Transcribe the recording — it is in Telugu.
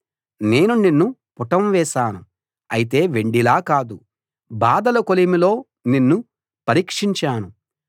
నేను నిన్ను పుటం వేశాను అయితే వెండిలా కాదు బాధల కొలిమిలో నిన్ను పరీక్షించాను